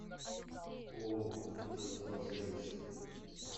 ооо автовокзал сервис